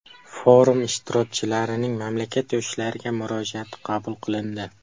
Forum ishtirokchilarining mamlakat yoshlariga murojaati qabul qilindi.